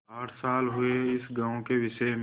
आठ साल हुए इस गॉँव के विषय में